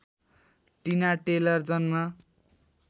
टिना टेलर जन्म